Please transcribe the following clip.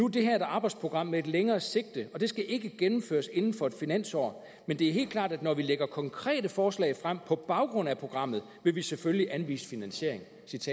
det her et arbejdsprogram med et længere sigte og det skal ikke gennemføres inden for et finansår men det er helt klart at når vi lægger konkrete forslag frem på baggrund af programmet vil vi selvfølgelig anvise finansiering